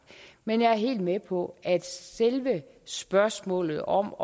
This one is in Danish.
men jeg er helt med på at selve spørgsmålet om